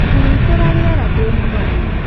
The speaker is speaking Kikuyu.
hurũtĩra rĩera ndĩ mũnogu